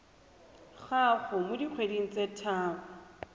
gago mo dikgweding tse tharo